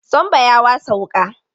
Sambo ya wasa wuƙa.